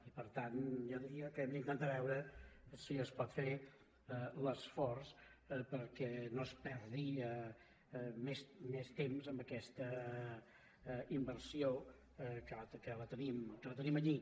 i per tant jo diria que hem d’intentar veure si es pot fer l’esforç perquè no es perdi més temps amb aquesta inversió que la tenim allí